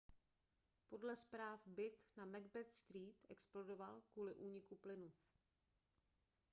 podle zpráv byt na macbeth street explodoval kvůli úniku plynu